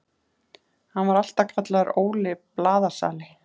Hann var alltaf kallaður Óli blaðasali.